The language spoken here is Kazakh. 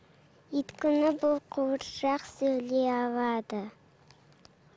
өйткені бұл қуыршақ сөйлей алады